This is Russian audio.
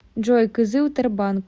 джой кызыл тербанк